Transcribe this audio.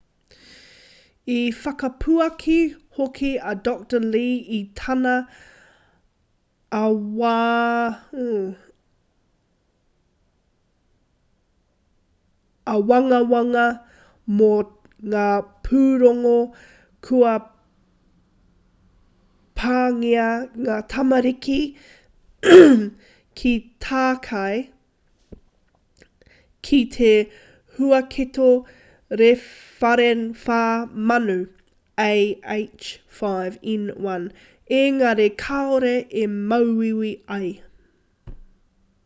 i whakapuaki hoki a dr. lee i tana āwangawanga mō ngā pūrongo kua pāngia ngā tamariki ki tākei ki te huaketo rewharewha manu ah5n1 engari kāore i māuiui ai